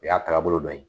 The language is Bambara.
O y'a taabolo dɔ ye